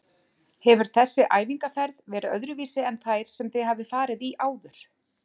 Hefur þessi æfingaferð verið öðruvísi en þær sem þið hafið farið í áður?